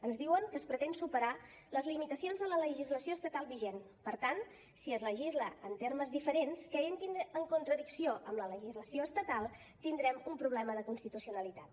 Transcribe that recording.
ens diuen que es pretén superar les limitacions de la legislació estatal vigent per tant si es legisla en termes diferents que entrin en contradicció amb la legislació estatal tindrem un problema de constitucionalitat